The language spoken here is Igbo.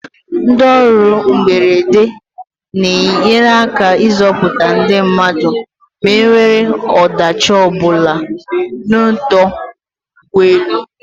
Ndị ọrụ mberede n'enye aka ịzọputa ndị mmadụ ma enwee ọdachi ọbụla n'ọdọ ụgbọelu.